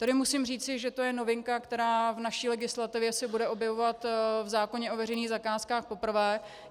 Tady musím říci, že to je novinka, která v naší legislativě se bude objevovat v zákoně o veřejných zakázkách poprvé.